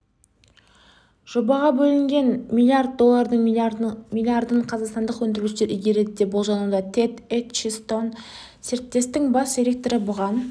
жобаға бөлінген миллиард доллардың миллиардын қазақстандық өндірушілер игереді деп болжануда тэд этчисон серіктестіктің бас директоры бұған